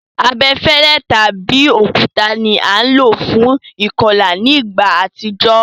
Abefẹ́lẹ́ tàbi òkúta ni a lo fún ìkolà ni ìgbà àtijó